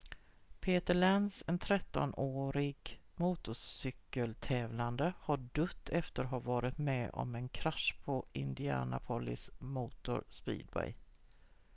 peter lenz en 13-årig motorcykel-tävlande har dött efter att ha varit med om en krasch på indianapolis motor speedway